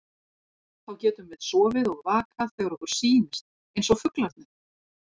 Þá getum við sofið og vakað þegar okkur sýnist, eins og fuglarnir.